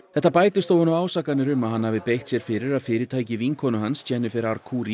þetta bætist ofan á ásakanir um að hann hafi beitt sér fyrir að fyrirtæki vinkonu hans Jennifer